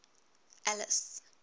alice